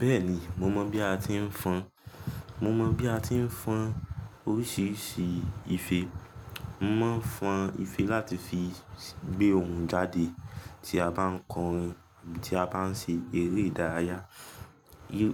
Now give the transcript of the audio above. Bẹ́ẹ̀ni, mo mọ̀ bí a ti ń fọn, mo mọ bí a ti ń fọn oríṣiríṣi ife. Mọ̀ mo ń fọn ife láti fi gbé ohun jáde tí a bá ń kọrin, tí a bá ń ṣe eré ìdárayá.